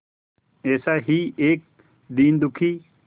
ऐसा ही एक दीन दुखी